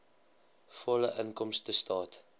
volledige inkomstestaat